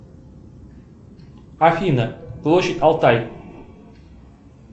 афина площадь алтай